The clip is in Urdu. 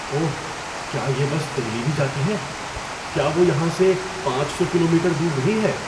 اوہ! کیا یہ بس دہلی بھی جاتی ہے؟ کیا وہ یہاں سے پانچ سو کلومیٹر دور نہیں ہے؟